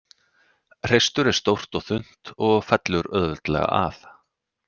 Hreistur er stórt og þunnt og fellur auðveldlega af.